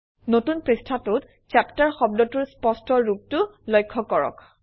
নতুন পৃষ্ঠাটোত চেপ্টাৰ শব্দটোৰ স্পষ্ট ৰূপটো লক্ষ্য কৰক